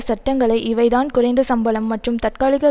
சட்டங்களை இவை தான் குறைந்த சம்பளம் மற்றும் தற்காலிக